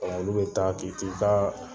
Ɔ olu bɛ ta ki t'i ka